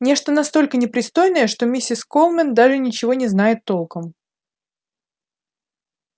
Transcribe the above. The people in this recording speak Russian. нечто настолько непристойное что миссис колмен даже ничего не знает толком